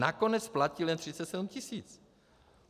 Nakonec platil jen 37 tisíc.